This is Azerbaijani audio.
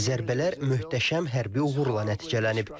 Zərbələr möhtəşəm həddi uğurla nəticələnib.